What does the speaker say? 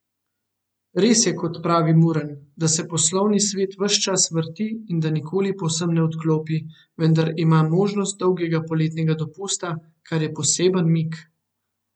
Res je, kot pravi Murn, da se poslovni svet ves čas vrti in da nikoli povsem ne odklopi, vendar ima možnost dolgega poletnega dopusta, kar je poseben mik.